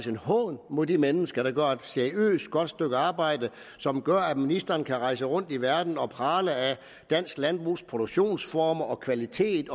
en hån mod de mennesker der gør et seriøst og godt stykke arbejde som gør at ministeren kan rejse rundt i verden og prale af dansk landbrugs produktionsformer og kvalitet